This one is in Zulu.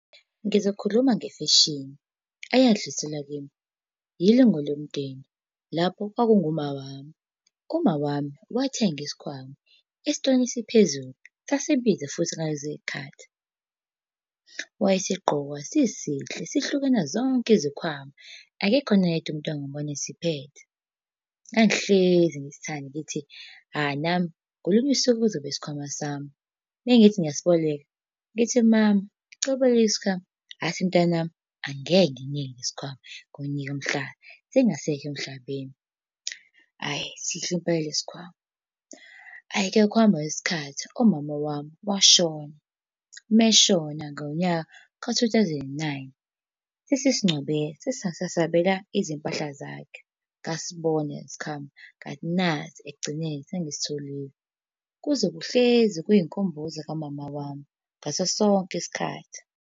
Ngizokhuluma ngefeshini eyadluliselwa kimi ilungu lomndeni, lapho kwakungu ma wami. Uma wami wathenga isikhwama esitolo esiphezulu, sasibiza futhi ngalezo yikhathi. Wayesigqoka sisihle sihluke kunazozonke izikhwama. Akekho noyedwa umuntu engambona esiphethe. Ngangihlezi ngisithandi ngithi hha, nami ngolunye usuku kuzoba isikhwama sami. Mangithi ngiyasiboleka, ngithi mama ngicela ukuboleka isikhwama. Athi, mntanami angeke ngikunike lesi sikhwama, ngokunika mhla sengasekho emhlabeni. Hhayi sihle impela lesi sikhwama. Hhayi-ke ngokuhamba kwesikhathi, umama wami washona, uma eshona ngonyaka ka-two thousand and nine, sasesingcwabe saze sabeka izimpahla zakhe. Ngasibona lesi sikhwama, ngathi nasi ekugcineni, sengisitholile. Kuzohlezi kuyinkumbuzo kamama wami, ngaso sonke isikhathi.